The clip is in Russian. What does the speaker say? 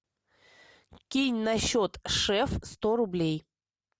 кинь на счет шеф сто рублей